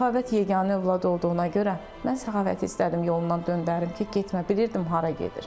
Səxavət yeganə övlad olduğuna görə, mən Səxavəti istədim yolundan döndərim ki, getmə, bilirdim hara gedir.